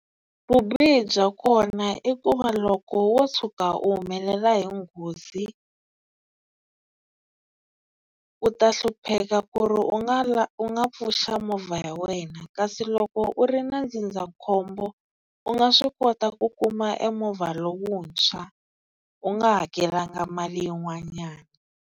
Vubihi bya kona i ku va loko wo tshuka u humelela hi nghozi u ta hlupheka ku ri u nga u nga pfuxa movha ya wena kasi loko u ri na ndzindzakhombo u nga swi kota ku kuma e movha lowuntshwa u nga hakelanga mali yin'wanyana.